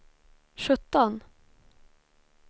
sjutton